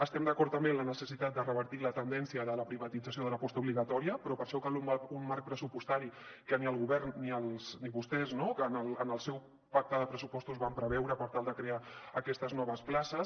estem d’acord també en la necessitat de revertir la tendència de la privatització de la postobligatòria però per a això cal un marc pressupostari que ni el govern ni vostès no en el seu pacte de pressupostos van preveure per tal de crear aquestes noves places